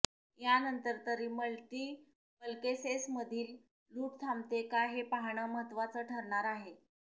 यानंतर तरी मल्टिपल्केसेसमधील लूट थांबते का हे पाहणं महत्त्वाचं ठरणार आहे